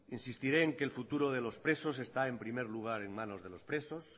insistiré en que el futuro de los presos está en primer lugar en manos de los presos